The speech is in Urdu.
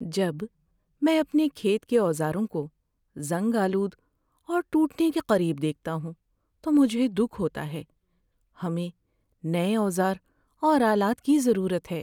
جب میں اپنے کھیت کے اوزاروں کو زنگ آلود اور ٹوٹنے کے قریب دیکھتا ہوں تو مجھے دکھ ہوتا ہے۔ ہمیں نئے اوزار اور آلات کی ضرورت ہے۔